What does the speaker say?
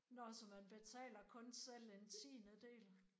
Nåh så man betaler kun selv en tiendedel?